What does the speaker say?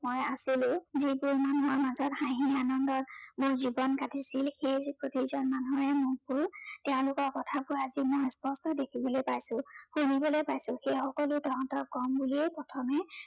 মই আছিলো, যিবোৰ মানুহৰ মাজত হাঁহি আনন্দত মোৰ জীৱন কাটিছিল, সেই প্ৰতিজন মানুহেই মুখবোৰ, তেওঁলোকৰ কথাবোৰ আজি মোৰ স্পষ্ট দেখিবলৈ পাইছো, শুনিবলৈ পাইছো। সেই সকলো তহঁতক কম বুলিয়েই প্ৰথমে